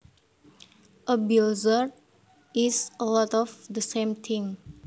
A blizzard is a lot of the same thing